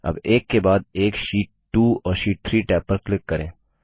अब एक के बाद एक शीट 2 और शीट 3 टैब पर क्लिक करें